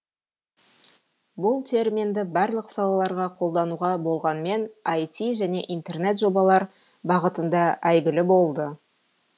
бұл терминді барлық салаларға қолдануға болғанмен іт және интернет жобалар бағытында әйгілі болды